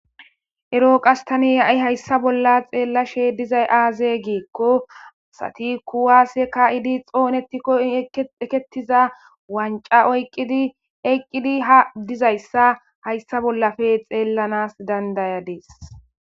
ero qasse tani ha'i hayssa bolla xeellashe dizay aaze giikko asati kuwaase ka'idi xoonettikko ekettiza wanca oyqqidi eqqidi ha dizayssa hayssa bollafe xeellanas dandayadis